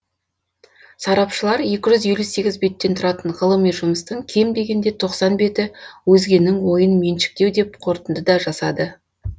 сарапшылар екі жүз елу сегіз беттен тұратын ғылыми жұмыстың кем дегенде тоқсан беті өзгенің ойын меншіктеу деп қорытынды да жасады